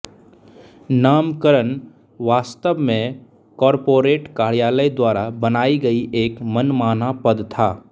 नामकरण वास्तव में कॉर्पोरेट कार्यालय द्वारा बनाई गई एक मनमाना पद था